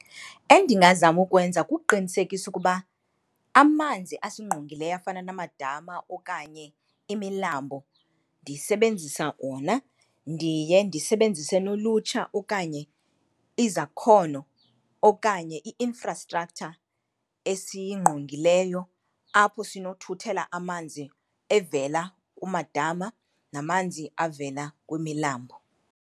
Endingazama ukwenza kuqinisekisa ukuba amanzi asingqongileyo afana namadama okanye imilambo ndisebenzisa wona. Ndiye ndisebenzise nolutsha okanye izakhono okanye i-infrastructure esingqongileyo apho sinothuthela amanzi evela kumadama namanzi avela kwimilambo.